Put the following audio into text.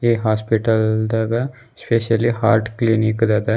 ಈ ಹಾಸ್ಪಿಟಲ್ ದಾಗ specially heart clinic ದದ.